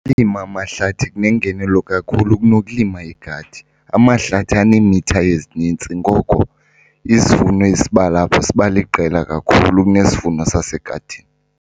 Ukulima amahlathi kunengenelo kakhulu kunokulima igadi. Amahlathi aneemitha ezinintsi ngoko isivuno esiba lapho siba liqela kakhulu kunesivuno sasegadini.